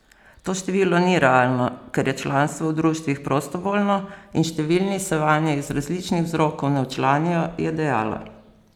To število ni realno, ker je članstvo v društvih prostovoljno in številni se vanje iz različnih vzrokov ne včlanijo, je dejala.